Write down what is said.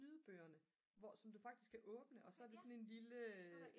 lydbøgerne som du faktisk kan åbne og så er det sådan en lille